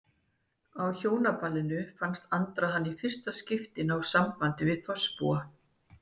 Á Hjónaballinu fannst Andra hann í fyrsta skipti ná sambandi við þorpsbúa.